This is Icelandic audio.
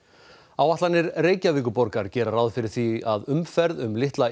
áætlanir Reykjavíkurborgar gera ráð fyrir því að umferð um litla